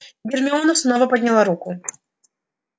гермиона снова подняла руку